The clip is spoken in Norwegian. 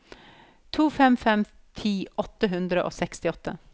to fem fem fem ti åtte hundre og sekstiåtte